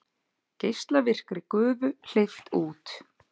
Geislavirkri gufu hleypt út